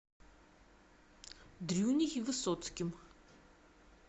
дрюней высоцким